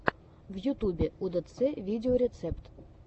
в ютубе удэцэ видеорецепт